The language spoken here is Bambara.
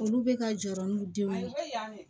Olu bɛ ka jɔrɔ n'u denw ye